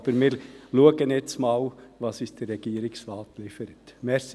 Wir schauen jetzt aber einmal, was uns der Regierungsrat liefern wird.